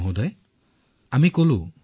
মহোদয় আমি ভয় খোৱা নাছিলো